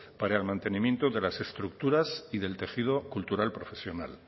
para el mantenimiento de las estructuras y del tejido cultural profesional